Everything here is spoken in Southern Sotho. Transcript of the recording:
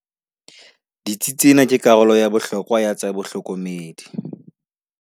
Ditsi tsena ke karolo ya bohlokwa ya tsa bohlokomedi.